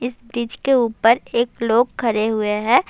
اس برج کے اپر ایک لوگ کھڈے ہوئے ہے۔